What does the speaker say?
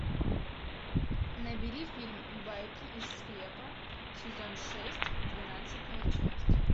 набери фильм байки из склепа сезон шесть двенадцатая часть